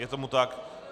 Je tomu tak.